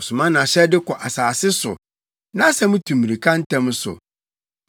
Ɔsoma nʼahyɛde kɔ asase so; nʼasɛm tu mmirika ntɛm so.